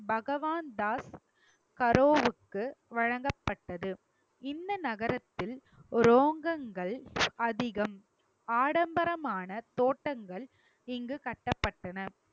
பகவான் தாஸ் கரோவிற்கு வழங்கப்பட்டது இந்த நகரத்தில் ரோகங்கள் அதிகம் ஆடம்பரமான தோட்டங்கள் இங்கு கட்டப்பட்டன